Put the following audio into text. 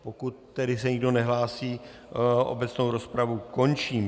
Pokud tedy se nikdo nehlásí, obecnou rozpravu končím.